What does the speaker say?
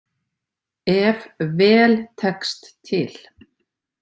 Ef „vel tekst til“.